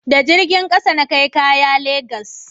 da jirgin ƙasa na kai kaya legas